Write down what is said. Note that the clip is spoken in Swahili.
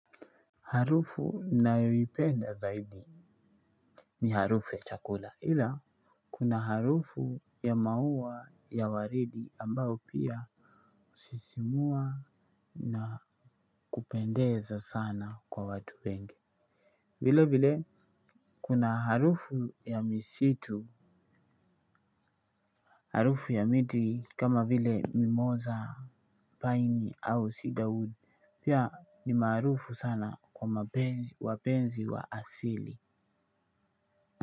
Harufu nayoipenda zaidi ni harufu ya chakula ila kuna harufu ya maua ya waridi ambao pia husisimua na kupendeza sana kwa watu wenge vile vile kuna harufu ya misitu harufu ya miti kama vile mimosa, paini au ciderwood pia ni maarufu sana kwa wapenzi wa asili.